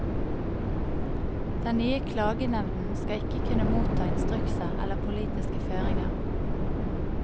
Den nye klagenevnden skal ikke kunne motta instrukser eller politiske føringer.